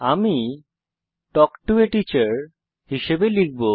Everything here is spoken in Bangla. আমি তাল্ক টো A টিচার হিসাবে লিখব